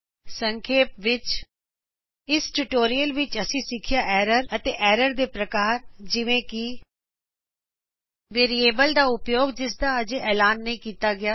ਵਿਸਥਾਰ ਸਹਿਤ ਇਸ ਟਯੂਟੋਰੀਅਲ ਵਿਚ ਅਸੀ ਸਿਖਿਆ ਐਰਰ ਅਤੇ ਐਰਰ ਦੇ ਪ੍ਰ੍ਕਾਰ ਜਿੱਵੇ ਕਿ ਵੇਰੀਏਬਲ ਦਾ ਉਪਯੋਗ ਜਿਸਦਾ ਅਜੇ ਏਲਾਨ ਨਹੀਂ ਕੀਤਾ ਗਿਆ ਹੈ